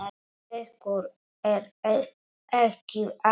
Ykkur er ekki alvara!